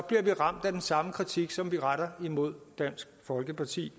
det bliver ramt af den samme kritik som vi retter imod dansk folkeparti